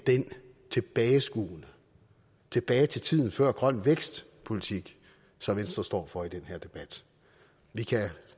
tilbageskuende tilbage til tiden før grøn vækst politik som venstre står for i den her debat vi kan